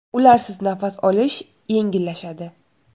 Ularsiz nafas olish yengillashadi.